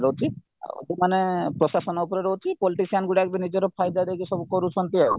ରହୁଛି ଆଉ ଯୋଉମାନେ ପ୍ରଶାସନ ଉପରେ ରହୁଛି politician ଗୁଡାକବି ନିଜର ଫାଇଦା ଦେଇକି କରୁଛନ୍ତି ଆଉ